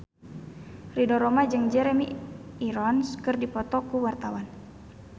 Ridho Roma jeung Jeremy Irons keur dipoto ku wartawan